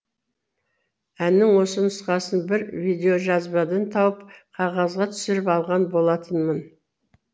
әннің осы нұсқасын бір видеожазбадан тауып қағазға түсіріп алған болатынмын